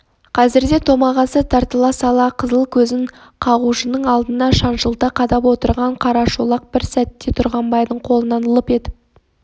қазірде томағасы тартыла сала қызыл көзін қағушының алдына шаншылта қадап отырған қарашолақ бір сәтте тұрғанбайдың қолынан лып етіп